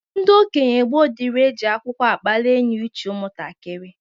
Ndị okenye gboo dịrị e ji agwụgwa akpalị enyouche ụmụntakịrị.